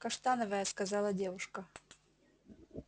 каштановая сказала девушка